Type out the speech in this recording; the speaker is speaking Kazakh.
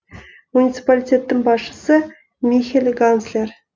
муниципалитеттің басшысы михель ганслер